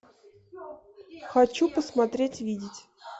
хочу посмотреть видеть